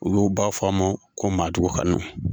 Olu b'a fɔ an ma ko maadugkanu.